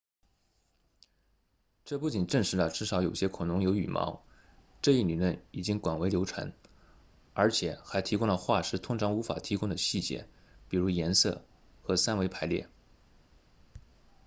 这不仅证实了至少有些恐龙有羽毛这一理论已经广为流传而且还提供了化石通常无法提供的细节比如颜色和三维排列